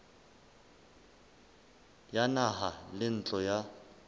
ya naha le ntlo ya